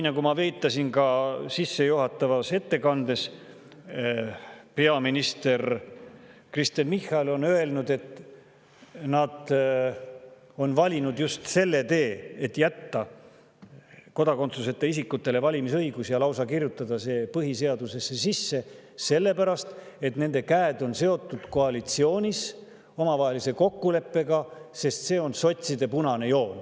Nagu ma viitasin ka sissejuhatavas ettekandes, peaminister Kristen Michal on öelnud, et nad on valinud just selle tee, et jätta kodakondsuseta isikutele valimisõigus ja kirjutada see lausa põhiseadusesse sisse, sellepärast et nende käed on seotud koalitsiooni omavahelise kokkuleppega, sest see on sotside punane joon.